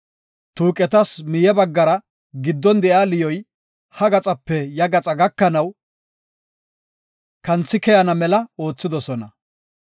Tuuqetas miye baggara giddon de7iya liyoy, ha gaxape ya gaxa gakanaw kanthi keyana mela oothidosona.